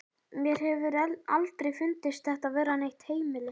Mér hefur aldrei fundist þetta vera neitt heimili.